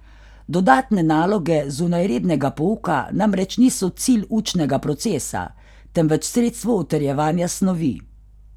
Dodatne naloge zunaj rednega pouka namreč niso cilj učnega procesa, temveč sredstvo utrjevanja snovi.